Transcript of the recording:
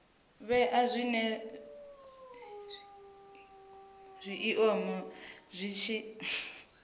vhea zwinwe zwiiimo zwi tshi